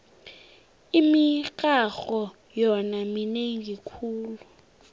imirharho yona minengi khulu